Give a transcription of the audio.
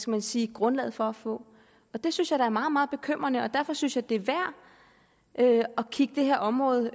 man sige grundlaget for at få og det synes jeg da er meget meget bekymrende og derfor synes jeg det er værd at kigge det her område